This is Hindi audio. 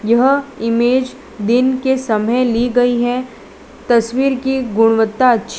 यह इमेज दिन के समय ली गई है तस्वीर की गुणवत्ता अच्छी --